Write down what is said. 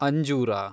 ಅಂಜೂರ